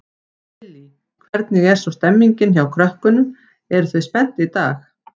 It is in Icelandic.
Lillý: Hvernig er svo stemmingin hjá krökkunum, eru þau spennt í dag?